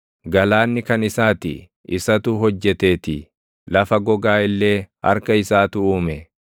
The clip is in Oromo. Galaanni kan isaa ti; isatu hojjeteetii; lafa gogaa illee harka isaatu uume.